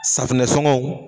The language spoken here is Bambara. Safinɛ sɔngɔw